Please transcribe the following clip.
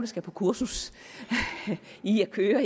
skal på kursus i at køre